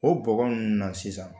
O bɔgɔ nunnu na sisan